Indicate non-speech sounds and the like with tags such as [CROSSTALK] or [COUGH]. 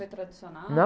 Foi tradicional? [UNINTELLIGIBLE]